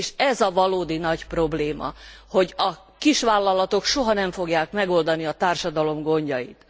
És ez a valódi nagy probléma, hogy a kisvállalatok soha nem fogják megoldani a társadalom gondjait.